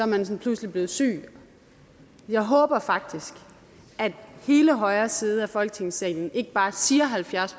man sådan pludselig blevet syg jeg håber faktisk at hele højre side af folketingssalen ikke bare siger halvfjerds